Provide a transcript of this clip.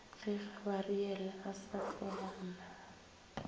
ge gabariele a sa feame